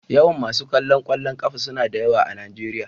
Yawan masu kallon kwallon kafa suna da yawa a Najeriya.